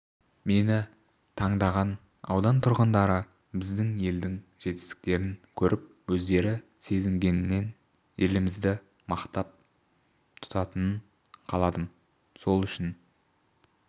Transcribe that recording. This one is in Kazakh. мені таңдаған аудан тұрғындары біздің елдің жетістіктерін көріп өздері сезінгенін елімізді мақтан тұтқанын қаладым сол үшін